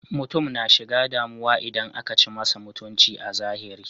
Mutum na shiga damu idan akan ci masa mutunci a zahiri.